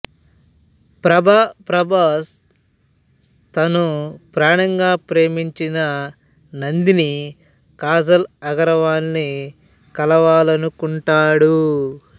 ప్రభా ప్రభాస్ తను ప్రాణంగా ప్రేమించిన నందిని కాజల్ అగర్వాల్ని కలవాలనుకుంటాడు